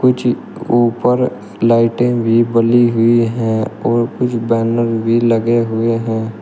कुछ ऊपर लाइटिंग भी बनी हुई है और कुछ बैनर भी लगे हुए हैं।